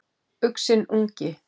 Uxinn ungi.